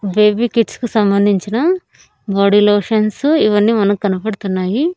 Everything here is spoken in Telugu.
బేబీ కిడ్స్ కి సంబంధించిన బాడీ లోషన్స్ ఇవన్నీ మనకు కనపడుతున్నాయి.